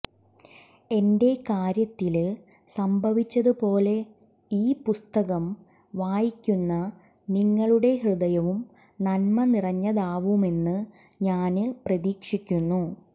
എന്റെ കാര്യത്തില് സംഭവിച്ചതുപോലെ ഈ പുസ്തകം വായിക്കുന്ന നിങ്ങളുടെ ഹൃദയവും നന്മനിറഞ്ഞതാവുമെന്ന് ഞാന് പ്രതീക്ഷിക്കുന്നു